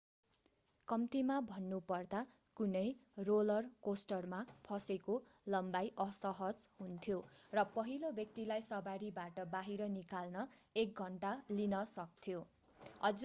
कम्तिमा भन्नुपर्दा कुनै रोलर कोस्टरमा फसेको लम्बाई असहज हुन्थ्यो र पहिलो व्यक्तिलाई सवारीबाट बाहिर निकाल्न एक घन्टा लिन सक्थ्यो